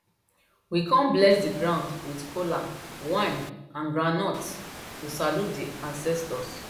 we come bless the ground with kola wine and groundnuts to salute the ancestors